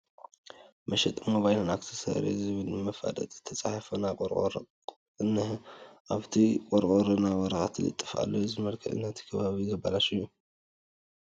መሸጢ ሞባይልን ኣክሰሰሪን ዝምል መፋለጢ ዝተፃሕፎ ናይ ቆርቆሮ ቑቕ እኒሀ፡፡ ኣብቲ ቆርቆ ናይ ወረቐት ልጥፍጣፍ ኣሎ፡፡ እዚ ንመልክዕ እቲ ከባቢ ዘበላሹ እዩ፡፡